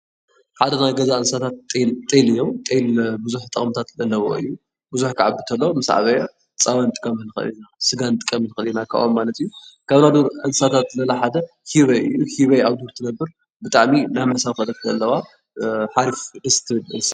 ሓደ ካብ ናይ ገዛ እንስሳት ጤል እዮም ።ጤል ብዙሕ ጥቅምታት ዘለዎ እዩ። ብዙሕ ክዓቢ እንተሎ ምስ ዓበየ ፀባ ክንጥቀሞ ንክእል ኢና ፣ስጋ ክንጥቀሞ ንክእል ኢና ካብኦም ማለት እዩ ካብ ናይ በርካ እንስሳሳት እንስሳት ለለ ሓደ ህበይ እዩ ። ህበይ ኣብ ዱር ትነብር ብጣዕሚ ናይ ምስሕብ ክእለት ለለዋ ሓሪፍ ደስ ትብል እንስሳ እያ።